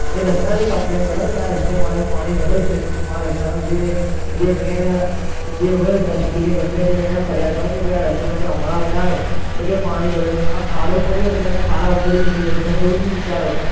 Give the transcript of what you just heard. એ રસ્તાની complain કરો ને કે આ રસ્તે મારે પાણી ભરાયું છે તો હું આ રસ્તામાં જઈ, જે મેં એને જે હોય ટ્રસ્ટી કે ગમે તે હોય એને ફરિયાદ કરો ને કે ભાઈ આ રસ્તો તમે હમણાં બનાવ્યો તો કેમ પાણી ભરાયું આ ખાડો પડ્યો તો તમે ખાડા ઉપરથી નીકળી જશો તમે એવું નહીં વિચારો